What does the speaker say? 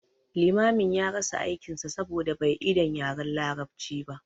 Limamin ya rasa aikin sa saboda bai idan yaren larabci ba